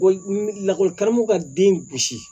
lakɔli karamɔgɔ ka den gosi